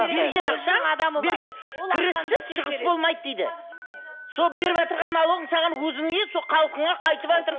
берген ақшаң берген кіріссіз шығыс болмайды дейді сол беріватырған налогың саған өзіңе сол халқыңа қайтыватыр